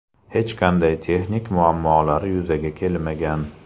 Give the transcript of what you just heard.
Hech qanday texnik muammolar yuzaga kelmagan.